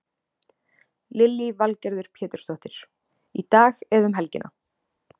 Lillý Valgerður Pétursdóttir: Í dag eða um helgina?